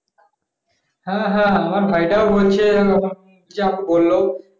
হ্যাঁ হ্যাঁ আমার ভাইটাও বলছে এরকম তুমি যা বলল